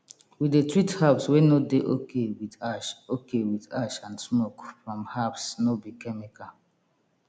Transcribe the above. we dey treat herbs wey no dey okay with ash okay with ash and smoke from herbs no be chemical